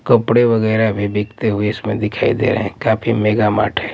कपड़े वगैरह भी बिकते हुए इसमें दिखाई दे रहे हैं काफी मेगा मार्ट --